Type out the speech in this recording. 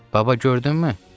Baba, gördünmü?